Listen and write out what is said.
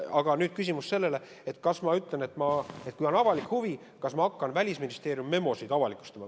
Aga nüüd küsimus, kas ma ütlen, et ma avaliku huvi korral hakkan Välisministeeriumi memosid avalikustama.